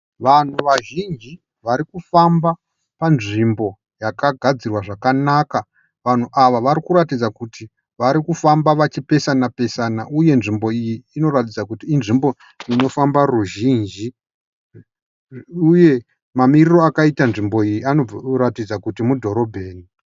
Vanhu vazhinji varikufamba panzvimbo yakagadzirwa zvakanaka. Vanhu ava varikuratidza kuti varikufamba vachipesana pesana uye nzvimbo iyi inoratidza kuti inofamba ruzhinji uye mamiriro akaita nzvimbo iyi anoratidza kuti mudhorobheni.